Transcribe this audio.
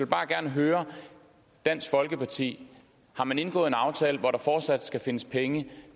bare gerne høre dansk folkeparti har man indgået en aftale hvor der fortsat skal findes penge